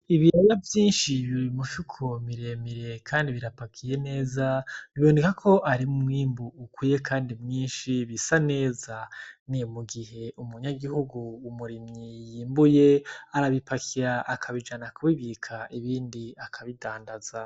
Ibirera vyinshi biri mu mifuko miremire, kandi birapakiye neza biboneka ko arumwimbu ukwiye, kandi mwinshi bisa neza ni mu gihe umunyagihugu umurimyi yimbuye arabipakira akabijana kubibika ibindi akabidandaza.